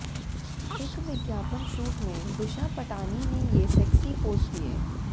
एक विज्ञापन शूट में दिशा पटानी ने ये सेक्सी पोज दिए